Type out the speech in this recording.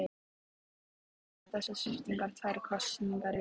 En hvaða áhrif hafa þessar sviptingar tvær kosningar í röð?